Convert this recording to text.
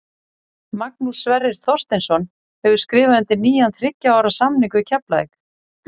Magnús Sverrir Þorsteinsson hefur skrifað undir nýjan þriggja ára samning við Keflavík.